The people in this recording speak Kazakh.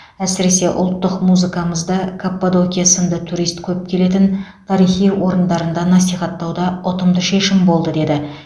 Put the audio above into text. әсіресе ұлттық музыкамызды каппадокия сынды турист көп келетін тарихи орындарында насихаттау да ұтымды шешім болды деді